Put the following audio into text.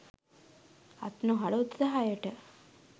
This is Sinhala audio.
අත් නොහල උත්සාහයට